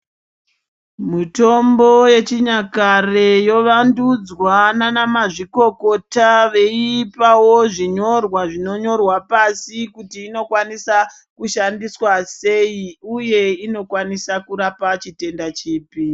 Mitombo yechinyakare yovandudzwa nanamazvikokota veipawo zvinyorwa zvinonyorwa pasi kuti inokwanisa kushandiswa sei uye inokwanisa kurapa chitenda chipi.